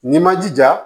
N'i ma jija